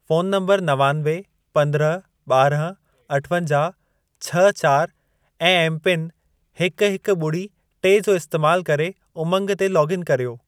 Phone number नवानवे, पंद्रहं, ॿारहं, अठवंजाहु, छह चारि ऐं एमपिन हिक, हिक, ॿुड़ी, टे जो इस्तैमाल करे उमंग ते लोगइन कर्यो।